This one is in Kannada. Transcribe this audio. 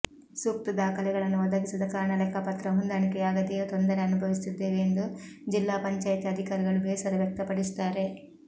ಸೂಕ್ತ ದಾಖಲೆಗಳನ್ನು ಒದಗಿಸದ ಕಾರಣ ಲೆಕ್ಕಪತ್ರ ಹೊಂದಾಣಿಕೆಯಾಗದೇ ತೊಂದರೆ ಅನುಭವಿಸುತ್ತಿದ್ದೇವೆ ಎಂದು ಜಿಲ್ಲಾ ಪಂಚಾಯಿತಿ ಅಧಿಕಾರಿಗಳು ಬೇಸರ ವ್ಯಕ್ತಪಡಿಸುತ್ತಾರೆ